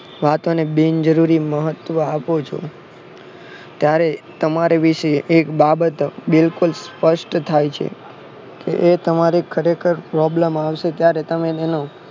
વાતો ને બિન જરૂરી મહત્વ આપો છો ત્યારે તમારા વિશે એક બાબત બિલકુલ સ્પષ્ટ થાય છે કે એ તમારી ખરેખર problem આવશે ત્યારે તમે તેનું